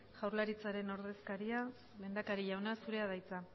jaurlaritzaren ordezkaria lehendakari jauna zurea da hitza